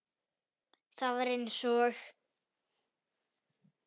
Það var eins og